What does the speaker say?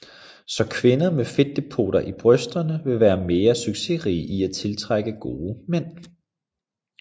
Så kvinder med fedtdepoter i brysterne ville være mere succesrige i at tiltrække gode mænd